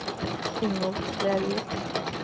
Ingolf Lervik